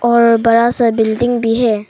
और बड़ा सा बिल्डिंग भी है।